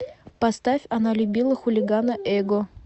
поставь она любила хулигана эго